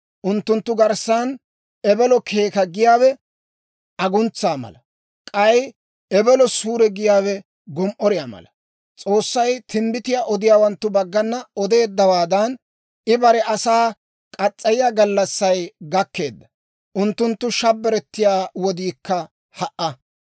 Unttunttu garssan ebelo keeka giyaawe aguntsa mala; k'ay ebelo suure giyaawe gom"oriyaa mala. S'oossay timbbitiyaa odiyaawanttu baggana odeeddawaadan, I bare asaa muriyaa gallassay gakkeedda; unttunttu shabbirettiyaa wodiikka ha"a.